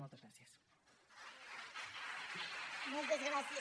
moltes gràcies